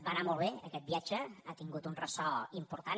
va anar molt bé aquest viatge ha tingut un ressò important